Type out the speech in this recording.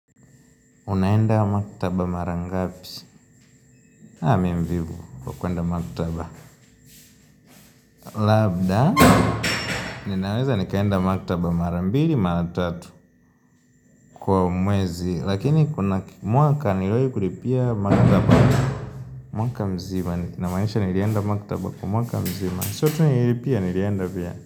Unaenda maktaba mara ngapi? Haa mi mvivu, wa kuenda maktaba Labda Ninaweza nikaenda maktaba mara mbili, mara tatu Kwa mwezi, lakini kuna mwaka nilowai kulipia mara ngapi mwaka mzima, namaanisha nilienda maktaba kwa mwaka mzima Sio tu nililipia nilienda pia.